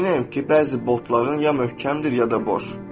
Əminəm ki, bəzi botların ya möhkəmdir, ya da boş.